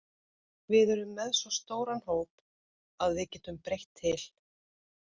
Við erum með svo stóran hóp að við getum breytt til.